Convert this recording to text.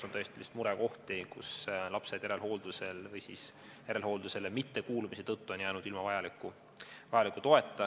On tõesti murekohti, et järelhooldusel olevad lapsed on jäänud toeta või järelhooldusele mittekuulumise tõttu on nad jäänud ilma vajaliku toeta.